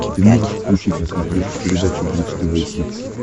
ты можешь включить на смотрешке передачу бридж тв хитс